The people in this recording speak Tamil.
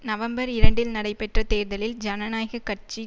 நவம்பர் இரண்டில் நடைபெற்ற தேர்தலில் ஜனநாயக கட்சி